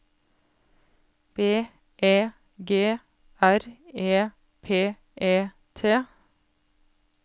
B E G R E P E T